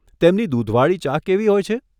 તેમની દૂધવાળી ચા કેવી હોય છે?